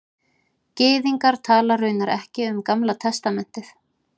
Gyðingar tala raunar ekki um Gamla testamentið